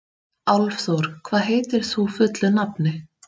Álfþór, hvað heitir þú fullu nafni?